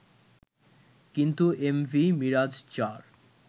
কিন্তু এমভি মিরাজ-৪